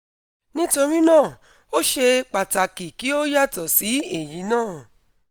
nítorí náà ó ṣeé pàtàkì kí ó yàtọ̀ sí èyí náà